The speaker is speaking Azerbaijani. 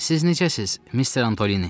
Siz necəsiz, Mister Antoni?